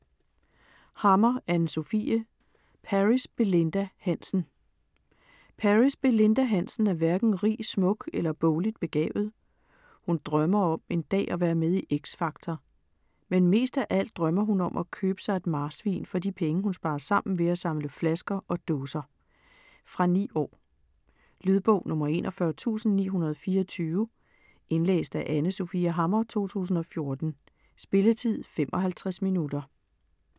Hammer, Anne Sofie: Paris Belinda Hansen Paris Belinda Hansen er hverken rig, smuk eller bogligt begavet. Hun drømmer om en dag at være med i X Factor, men mest af alt drømmer hun om at købe sig et marsvin for de penge hun sparer sammen ved at samle flasker og dåser. Fra 9 år. Lydbog 41924 Indlæst af Anne Sofie Hammer, 2014. Spilletid: 0 timer, 55 minutter.